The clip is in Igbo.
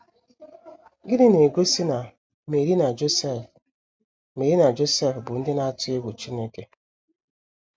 Gịnị na - egosi na Meri na Josef Meri na Josef bụ ndị na - atụ egwu Chineke?